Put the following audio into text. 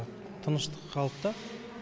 тыныштық қалыпта